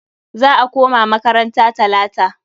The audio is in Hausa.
Za a koma makaranta talata.